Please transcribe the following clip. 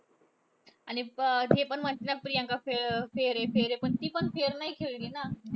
आणि अं ते पण म्हणतात ना, प्रियंका फे अं fair आहे fair आहे. पण ती पण fair नाही खेळली ना.